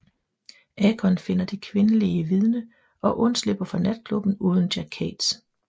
Akon finder det kvindelige vidne og undslipper fra natklubben uden Jack Cates